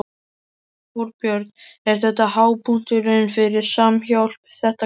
Þorbjörn: Er þetta hápunkturinn fyrir Samhjálp, þetta kvöld?